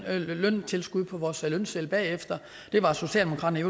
løntilskud på vores lønseddel bagefter det var socialdemokraterne i